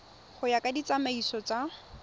go ya ka ditsamaiso tsa